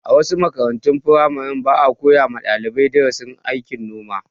A wasu makarantun firamaren, ba a koya wa dalibai darasin aikin noma.